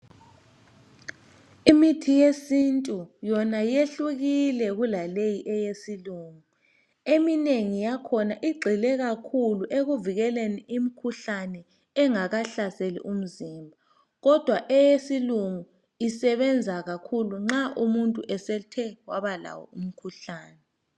Imithi yesintu yona yehlukile kulaleyi eyesilungu. eminengi yakhona igxile kakhulu ekuvikeleni imikhuhlane engakahlaseli umzimba kodwa eyesilungu isebenza kakhulu nxa umuntu esethe wabalawo umkhuhlane